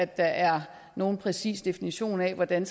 der er nogen præcis definition af hvordan